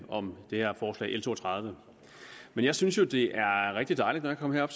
om det her forslag l to og tredive men jeg synes jo det er rigtig dejligt når jeg kommer herop